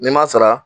N'i m'a sara